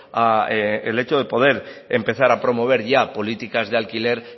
al hecho de poder empezar a promover ya políticas de alquiler